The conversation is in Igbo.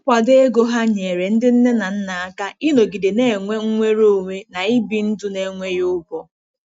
Nkwado ego ha nyere ndị nne na nna aka ịnọgide na-enwe nnwere onwe na ibi ndụ n'enweghị ụgwọ.